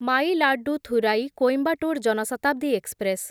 Mayiladuthurai Coimbatore Jan Shatabdi express